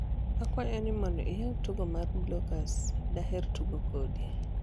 akwayo ni mondo iyaw tugo mar blokus daher tugo kodi